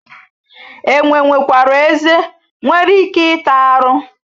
Enwe nwekwara ezé nwere ike ịta arụ.